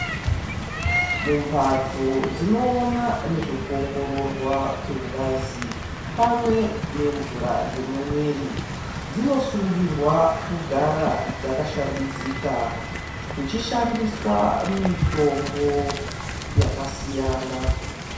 Mumbatso dzinoona nezvekuongororwa kwengazi pamwe nemvura dzemuviri dzinosungirwa kugara dzakashambidzika kuchishandiswa mitombo yakasiyana.